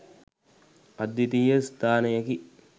අද්විතීය ස්ථානයකි